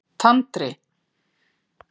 Tandri